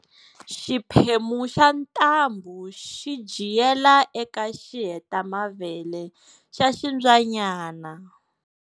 Xiphemu xa ntambu xi jiyela eka xihetamavele xa ximbyanyana.